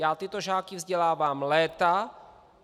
Já tyto žáky vzdělávám léta.